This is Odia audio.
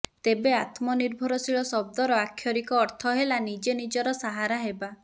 ତେବେ ଆତ୍ମନିର୍ଭରଶୀଳ ଶବ୍ଦର ଆକ୍ଷରିକ ଅର୍ଥ ହେଲା ନିଜେ ନିଜର ସାହାରା ହେବା